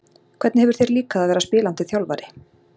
Hvernig hefur þér líkað að vera spilandi þjálfari?